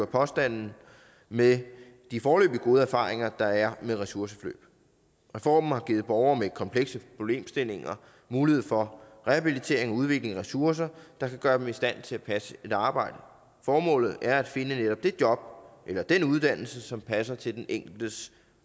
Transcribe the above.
påstanden med de foreløbig gode erfaringer der er med ressourceforløb reformen har givet borgere med komplekse problemstillinger mulighed for rehabilitering og udvikling af ressourcer der kan gøre dem i stand til at passe et arbejde formålet er at finde netop det job eller den uddannelse som passer til den enkeltes